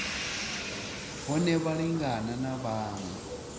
hone vha lingane na vhaṅwe